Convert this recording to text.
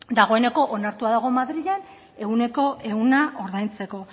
dagoeneko onartua dago madrilen ehuneko ehuna ordaintzeko